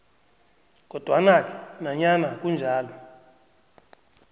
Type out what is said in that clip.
kodwanake nanyana kunjalo